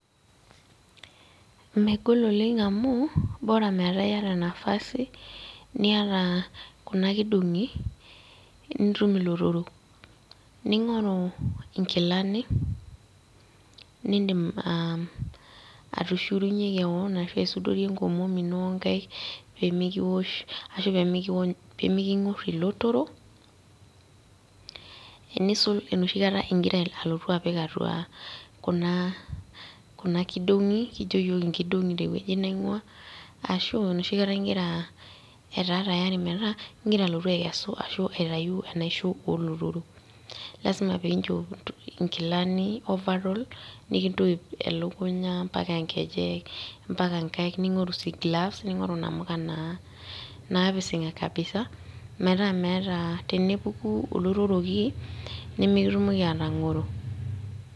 Megol oleng' amuu, bora metaa yata nafasi, niata kuna kidong'i, nitum ilotorok. Ning'oru inkilani, nidim atushurunye keon, ashu aisudorie enkomom ino onkaik, pemikiwosh ashu pemikiwony pemiking'or ilotorok, enisul enoshi kata igira alotu apik atua kuna kidong'i, kijo yiok inkidong'i tewueji naing'uaa, ashu enoshi kata igira etaa tayari metaa, igira alotu akesu arashu aitayu enaisho olotorok. Lasima peinchop inkilani overall, nikintoip elukunya, mpaka nkejek, mpaka nkaik ning'oru si gloves, ning'oru namuka naa, napising'a kabisa ,metaa meeta tenepuku olotoroki, nimikitumoki atang'oro.